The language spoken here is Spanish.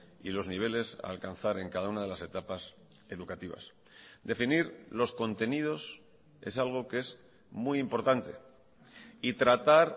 y los niveles a alcanzar en cada una de las etapas educativas definir los contenidos es algo que es muy importante y tratar